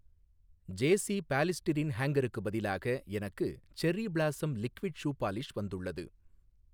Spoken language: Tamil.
ஜேஸீ பாலிஸ்டிரீன் ஹேங்கருக்கு பதிலாக எனக்கு cherry blossom liquid shoe polish வந்துள்ளது.